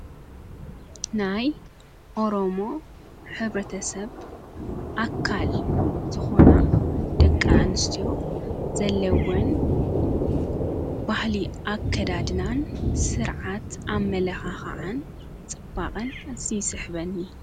ናይ ኦሮሞ ኅብረተሰብ ኣካል ዝኾና ደቂ ኣንስቲዮ ዘለውን ባሕሊ ኣከዳድናን ሥርዓት ኣመለኻኸዓን ጽባቐን ይስሕበኒ::